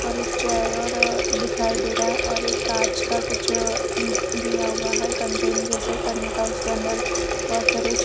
और एक चेयर और दिखाई दे रहा है और एक कांच का कुछ दिया हुआ है कंटेन जैसे करने का उसके अंदर बहुत सारे --